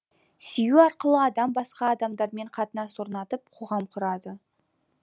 сүю арқылы адам басқа адамдармен қатынас орнатып қоғам құрады